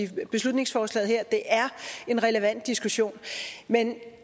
her beslutningsforslag det er en relevant diskussion men